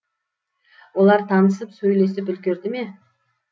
олар танысып сөйлесіп үлгерді ме